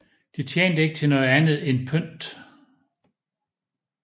Den tjente ikke til noget andet end pynt